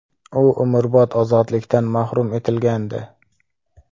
U umrbod ozodlikdan mahrum etilgandi.